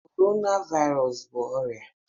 Corona Virus bụ ọrịa